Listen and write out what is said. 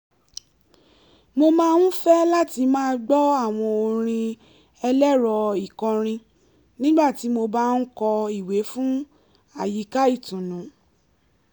mo máa ń fẹ́ láti máa gbọ́ àwọn orin ẹlẹ́rọ-ìkọrin nígbà tí mo bá ń kọ ìwé fún àyíká ìtùnú